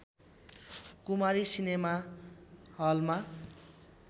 कुमारी cinema हलमा